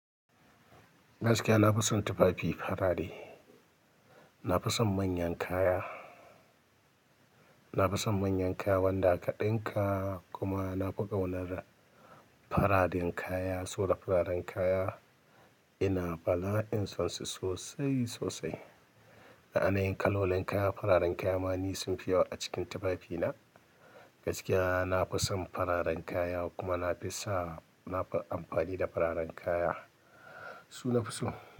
Gaskiya na fi son tufafi farare. Nafi son manyan kaya, nafi son manyan kaya wanda aka ɗinka kuma nafi ƙaunar fararen kaya, soda fararen kaya. Ina bala'in son su sosai sosai. Na'anai kalolin kaya fararen kaya ma ni sunfi yawa a cikin tufafina. Gaskiya na fi son fararen kaya kuma nafi sa, nafi amfani da fararen kaya, su nafi so.